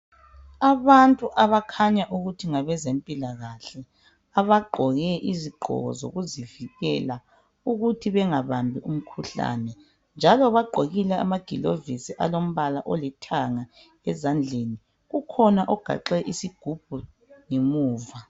abantu abakhanyayo ukuthi ngabezempilakahle abagqoke izigqoko zokuzivikela ukuthi bengabambi imikhuhlane njalo bagqokile amagulovisi alompala olithanga ezandleni ukhona ogaxe isigubhu ngemuva